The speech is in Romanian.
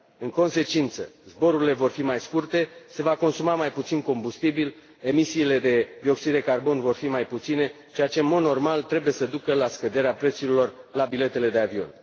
În consecință, zborurile vor fi mai scurte, se va consuma mai puțin combustibil, emisiile de dioxid de carbon vor fi mai puține, ceea ce, în mod normal, trebuie să ducă la scăderea prețurilor la biletele de avion.